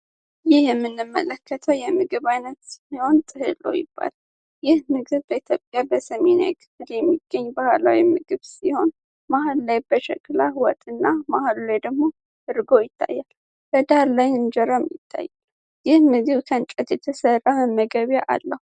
ይህ የምንመለከተው የምግብ ዓይነት ሲሆን በሰሜን የኢትዮጵያ ክፍል የሚገኝ ባህላዊ ምግብ ሲሆን መሃል ላይ በሸክላ ወጥና ወይም ደግሞ እርጎ ይታያል በዳር ላይ እንጀራ ይታያል ይህ ምግብ ከእንጨት የተሰራ መመገበያ አለው።